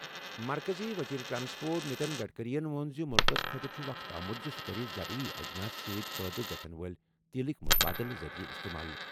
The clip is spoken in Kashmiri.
مرکزی وزیر ٹرانسپورٹ نِتن گٹکرین ووٚن زِ مُلکَس خٲطرٕ چھُ وقت آمُت زِ سُہ کرِ زرعی اجناس سۭتۍ پٲدٕ گژھَن وٲلۍ تیٖلٕک مُتبادل ذٔریعہٕ استعمال۔